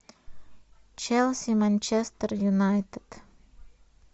челси манчестер юнайтед